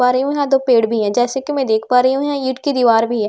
पा रही हूं यहां दो पेड़ भी है जैसे कि मैं देख पा रही हूं यहां ईंट की दीवार भी है।